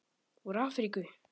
Úr Afríku!